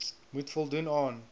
moet voldoen aan